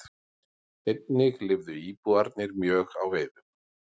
Einnig lifðu íbúarnir mjög á veiðum.